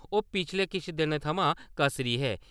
ओह् पिच्छले किश दिनें थमां कसरी हे।